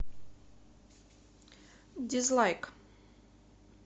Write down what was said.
дизлайк